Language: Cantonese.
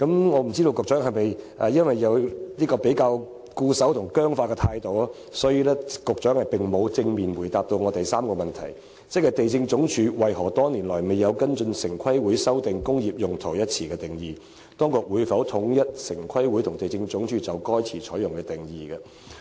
我不知道局長的態度是否較為固守及僵化，所以並無正面答覆我的主體質詢第三部分的提問，即"地政總署為何多年來未有跟隨城規會修訂'工業用途'一詞的定義；當局會否統一城規會和地政總署就該詞採用的定義"。